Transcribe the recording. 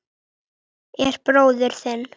En bróðir þinn.